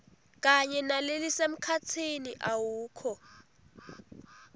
kanye nalelisemkhatsini awukho